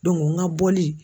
n ka bɔli.